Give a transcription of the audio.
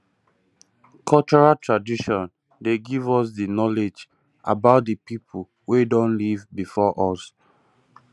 cultural tradition dey give us di knowledge about di pipo wey don live before us